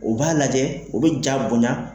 U b'a lajɛ , u be ja bonya